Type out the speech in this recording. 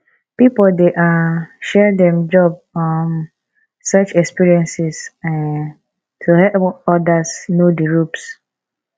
pipo dey um share dem job um search experiences um to help others know di ropes